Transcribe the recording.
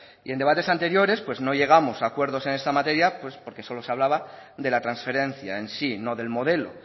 y en debates anteriores no llegamos a acuerdos en esta materia pues porque solo se hablaba de la transferencia en sí no del modelo